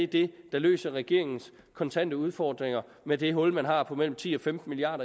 det der løfter regeringens kontante udfordringer med det hul man har på mellem ti og femten milliard